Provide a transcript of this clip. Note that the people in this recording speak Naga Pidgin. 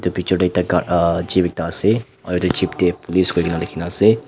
bichor tae ekta kala jeep ekta ase aru edu Jeep tae police koina likhinaase.